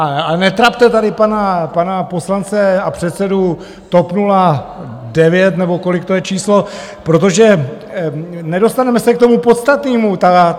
A netrapte tady pana poslance a předsedu TOP 09, nebo kolik to je číslo, protože nedostaneme se k tomu podstatnému.